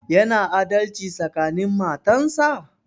Yana adalci tsakanin matan sa?